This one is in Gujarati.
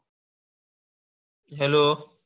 Hello